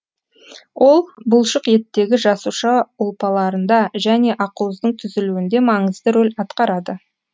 ол бұлшық еттегі жасуша ұлпаларында және ақуыздың түзілуінде маңызды рөл атқарады